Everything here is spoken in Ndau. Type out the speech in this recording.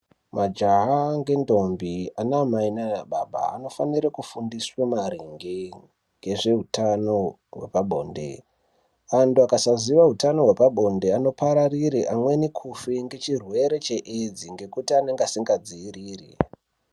Majaha ngendombi, anaamai naanababa anofanire kufundiswe maringe ngezveutano hwepabonde. Antu akasaziye utano hwepabonde anopararire amweni kufe ngechirwere cheEdzi ngekuti anenge asingadziiriri.